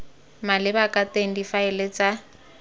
maleba ka teng difaele tsa